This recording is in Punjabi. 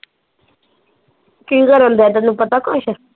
ਕੀ ਕਰਨ ਦਿਆ ਤੈਨੂੰ ਪਤਾ ਕੁਸ਼